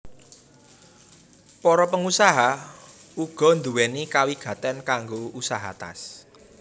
Para pengusaha uga nduwéni kawigatén kanggo usaha tas